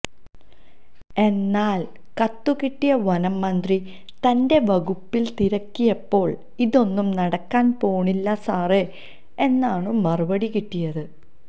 എന്നാല് കത്തുകിട്ടിയ വനംമന്ത്രി തന്റെ വകുപ്പില് തിരക്കിയപ്പോള് ഇതൊന്നും നടക്കാന് പോണില്ല സാറേ എന്നാണു മറുപടി കിട്ടിയത്